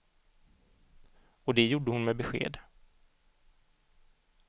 Och det gjorde hon med besked.